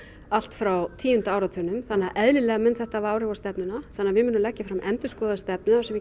allt frá tíu áratugnum þannig að eðlilega mun þetta hafa áhrif á stefnuna þannig að við munum leggja fram endurskoðaða stefnu þar sem